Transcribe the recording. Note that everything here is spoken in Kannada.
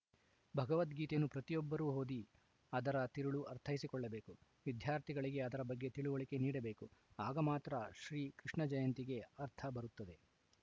ಭಗವದ್ಗೀತೆಯನ್ನು ಪ್ರತಿಯೊಬ್ಬರು ಓದಿ ಅದರ ತಿರುಳು ಅರ್ಥೈಸಿಕೊಳ್ಳಬೇಕು ವಿದ್ಯಾರ್ಥಿಗಳಿಗೆ ಅದರ ಬಗ್ಗೆ ತಿಳಿವಳಿಕೆ ನೀಡಬೇಕು ಆಗ ಮಾತ್ರ ಶ್ರೀ ಕೃಷ್ಣ ಜಯಂತಿಗೆ ಅರ್ಥ ಬರುತ್ತದೆ